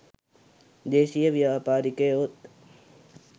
දේශීය ව්‍යාපාරිකයොත්